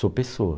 Sou pessoa.